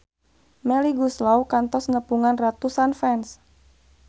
Melly Goeslaw kantos nepungan ratusan fans